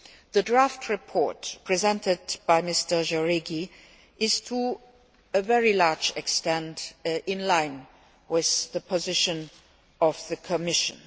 The draft report presented by Mr Jáuregui Atondo is, to a very large extent, in line with the position of the Commission.